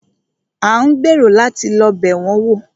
A ń gbèrò láti lọ́ bẹ̀ wọn wò.